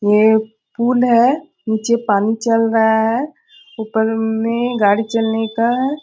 ये एक पूल है। नीचे पानी चल रहा है। ऊपर में गाड़ी चलने का --